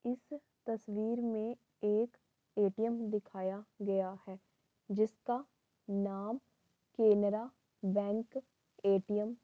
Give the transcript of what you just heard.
इस तस्वीर में एक ए.टी.एम. दिखाया गया है जिसका नाम केनरा बैंक ए.टी.एम. --